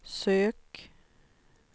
sök